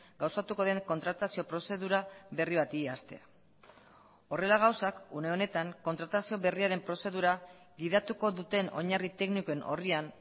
gauzatuko den kontratazio prozedura berri bati hastea horrela gauzak une honetan kontratazio berriaren prozedura gidatuko duten oinarri teknikoen orrian